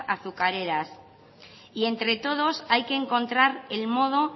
azucareras y entre todos hay que encontrar el modo